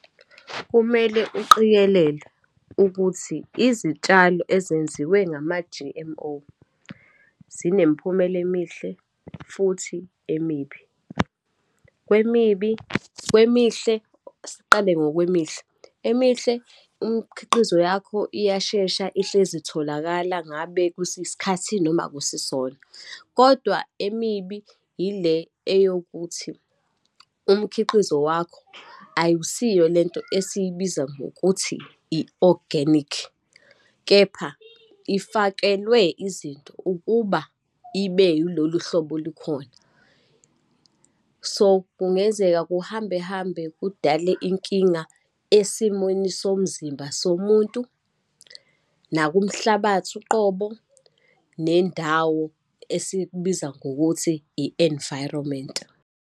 Kumele uqikelelwe ukuthi izitshalo ezenziwe ngama-G_M_O, zinemiphumela emihle futhi emibi. Kwemibi, kwemihle, asiqale ngokwemihle. Emihle, imkhiqizo yakho iyashesha ihlezi itholakala ngabe kusisikhathi noma akusisona, kodwa emibi yile eyokuthi umkhiqizo wakho akusiyo lento esiyibiza ngokuthi i-oganikhi. Kepha, ifakelwe izinto ukuba ibe yilolu hlobo olukhona. So, kungenzeka kuhambe hambe, kudale inkinga esimweni somzimba somuntu, nakumhlabathi uqobo, nendawo esikubiza ngokuthi i-environment.